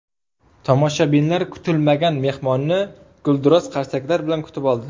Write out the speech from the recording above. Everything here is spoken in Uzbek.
Tomoshabinlar kutilmagan mehmonni gulduros qarsaklar bilan kutib oldi.